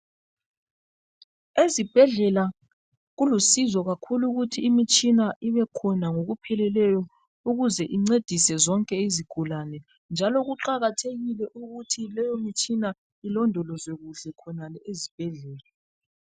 Ezibhedlela kulusizo kakhulu ukuthi imitshina ibekhona ngokupheleleyo ukuze incedise zonke izigulane njalo kuqakathekile ukuthi leyomitshina ilondolozwe kuhle khonale ezibhedlela.